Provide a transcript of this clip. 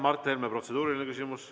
Mart Helme, protseduuriline küsimus.